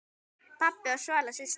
Pabbi og Svala systir.